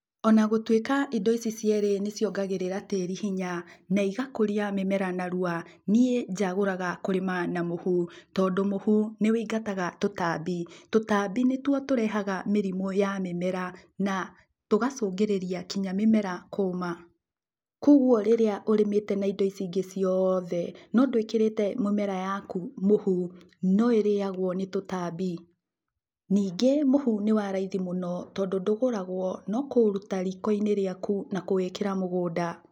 Ona gũtuĩka indo ici cierĩ nĩ ciongagĩrĩra tĩĩri hinya, igakũria mĩmera narua, niĩ njagũraga kũrĩma na mũhu, tondũ mũhu nĩ wĩingataga tũtambi. Tondũ tũtambi nĩ tuo tũrehaga mĩrimũ ya mĩmera na tũgacũngĩrĩria nginya mĩmera kũũma. Kogwo rĩrĩa ũrĩmĩte na indo ici ingĩ cioothe no ndũĩkĩrĩte mĩmera yaku mũhu no ĩrĩyagwo nĩ tũtambi. Ningĩ mũhu nĩ waraithi mũno tondũ ndũgũragwo no kũũruta riko-inĩ rĩaku na kũwĩkĩra mũgũnda.